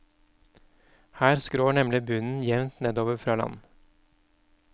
Her skrår nemlig bunnen jevnt nedover fra land.